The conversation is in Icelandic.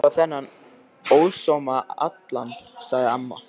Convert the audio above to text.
Það ætti að rífa þennan ósóma allan, sagði amma.